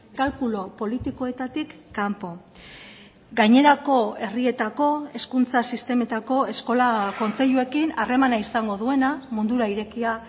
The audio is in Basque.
kalkulu politikoetatik kanpo gainerako herrietako hezkuntza sistemetako eskola kontseiluekin harremana izango duena mundura irekia